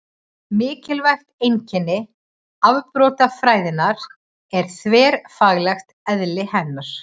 Mikilvægt einkenni afbrotafræðinnar er þverfaglegt eðli hennar.